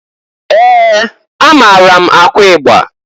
Ee! Amaara m akụ igba.